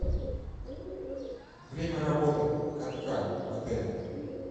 время работы катка в отеле